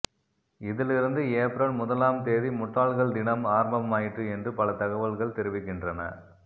இதிலிருந்து ஏப்ரல் முதலாம் திகதி முட்டாள்கள் தினம் ஆரம்பமாயிற்று என்று பல தகவல்கள் தெரிவிக்கின்றன